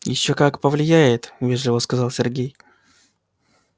ещё как повлияет вежливо сказал сергей